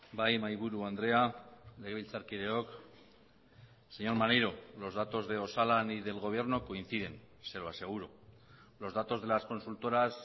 bai mahaiburu andrea legebiltzarkideok señor maneiro los datos de osalan y del gobierno coinciden se lo aseguro los datos de las consultoras